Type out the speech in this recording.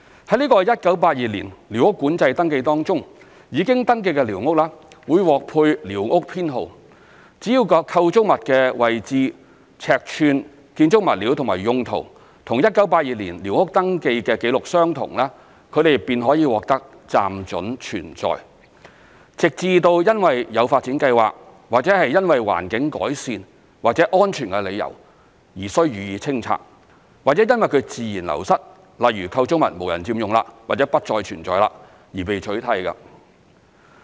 在這個1982年寮屋管制登記當中，已經登記的寮屋會獲配寮屋編號，只要構築物的位置、尺寸、建築物料及用途與1982年寮屋登記紀錄相同，它們便可獲得"暫准存在"，直至因為有發展計劃，或因為環境改善或安全理由而須予以清拆，或因自然流失，例如構築物無人佔用或不再存在，而被取締。